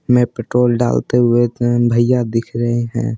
में पेट्रोल डालते हुए अ भैया दिख रहे हैं।